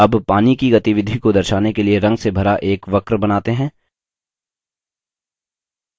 अब पानी की गतिविधि को दर्शाने के लिए रंग से भरा एक वक्र बनाते हैं